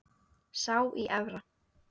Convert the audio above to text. Sá í Efra.